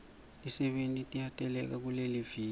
tisebenti tiyateleka kuleliviki